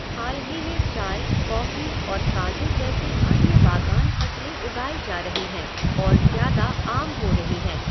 हाल ही में चाय, कॉफी और काजू जैसी अन्य बागान फसलें उगाई जा रही हैं और ज़्यादा आम हो रही हैं।